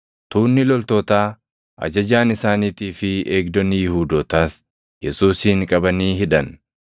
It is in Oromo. Tuunni loltootaa, ajajaan isaaniitii fi eegdonni Yihuudootaas Yesuusin qabanii hidhan.